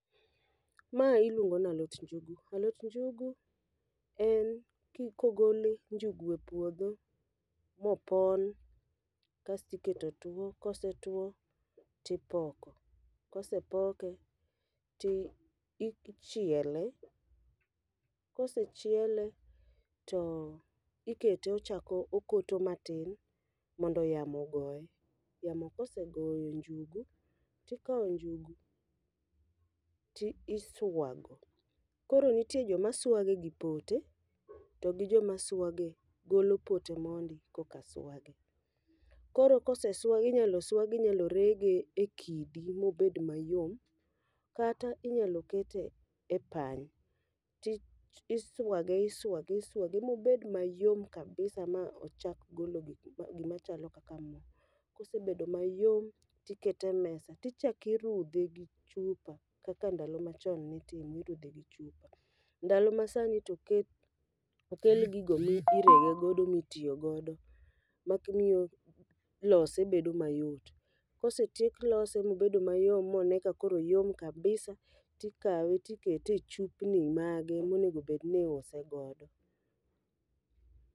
Ma iluongo nalot njugu, alot njugu en ko i kogole njugu e puodho mopon kastiketo two. Kosetwo, tipoko, kosepoke, tichiele. Kosechiele, to ikete ochako okoto matin mondo yamo ogoye. Yamo kosegoyo njugu, tikawo njugu ti iswago, koro nitie joma swage gi pote togi joma swage golo pote mondi koka swage. Koro kose swagi inyalo swagi inyalo rege e kidi mobed mayom kata inyalo kete e pany. Tiswage iswage iswage mobed mayom kabisa ma ochak golo gik gima chalo kaka mo. Kosebedo mayom tikete e mesa tichakirudhe gi chupa kaka ndalo machon nitimo, nirudhe gi chupa. Ndalo ma sani to oket, okel gigo mirego godo mitiyo godo, mak miyo lose bedo mayot. Kosetiek lose mobedo mayom mone ka koro oyom labisa, tikawe tikete e chupni mage monegobedni iuse godo.